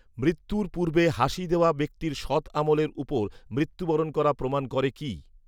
মৃত্যুর পূর্বে হাসি দেওয়া ব্যক্তির সৎআমলের উপর মৃত্যুবরণ করা প্রমান করে কি